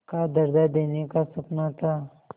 का दर्ज़ा देने का सपना था